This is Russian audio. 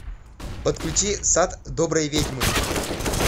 подключи сад доброй ведьмы